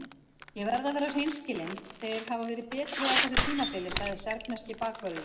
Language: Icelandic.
Ég verð að vera hreinskilinn- þeir hafa verið betri á þessu tímabili, sagði serbneski bakvörðurinn.